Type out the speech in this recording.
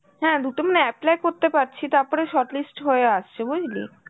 হ্যাঁ দুটো আমরা apply করতে পারছি, তারপরে short list হয়ে আসছে, বুঝলি?